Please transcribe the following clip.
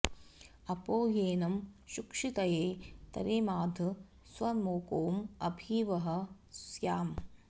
अ॒पो येन॑ सुक्षि॒तये॒ तरे॒माध॒ स्वमोको॑ अ॒भि वः॑ स्याम